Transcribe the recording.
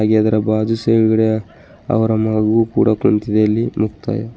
ಎದರ ಬಾಜು ಸೈಡ್ ಗಡೆ ಅವರ ಮಗು ಕೂಡ ಕುಂತಿದೆ ಇಲ್ಲಿ ಮುಕ್ತಾಯ --